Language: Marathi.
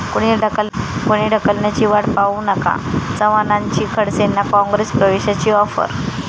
कुणी ढकलण्याची वाट पाहू नका, चव्हाणांची खडसेंना काँग्रेस प्रवेशाची आॅफर